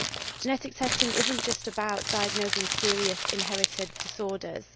Genetic testing is not just about diagnosing serious inherited disorders.